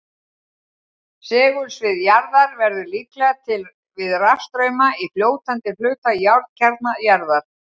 Segulsvið jarðar verður líklega til við rafstrauma í fljótandi hluta járnkjarna jarðar.